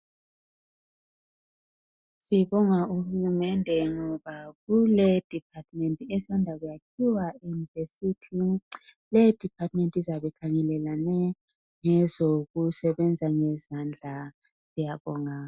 Sibonga uhulumende ngoba kule department esanda kuyakhiwa eyunivesithi leyo department izabe ikhangelelane ngezokusebenza ngezandla siyabonga.